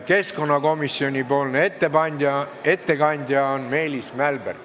Keskkonnakomisjoni ettekandja on Meelis Mälberg.